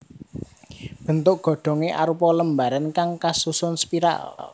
Bentuk godhongé arupa lembaran kang kasusun spiral